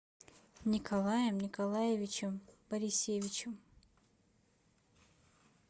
николаем николаевичем борисевичем